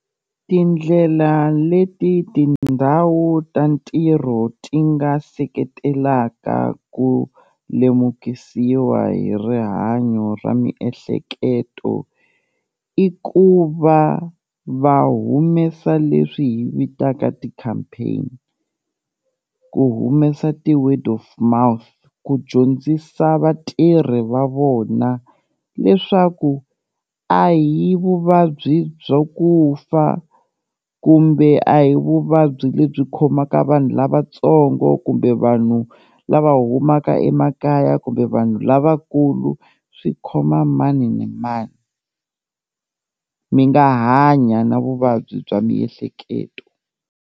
Tindlela leti tindhawu ta ntirho ti nga seketelaka ku lemukisiwa hi rihanyo ra miehleketo, i ku va va humesa leswi hi vitaka ti-campaign ku humesa ti-word of mouth ku dyondzisa vatirhi va vona leswaku a hi vuvabyi bya ku fa kumbe a hi vuvabyi lebyi khomaka vanhu lavatsongo kumbe vanhu lava humaka emakaya kumbe vanhu lavakulu, swi khoma mani ni mani, mi nga hanya na vuvabyi bya miehleketo.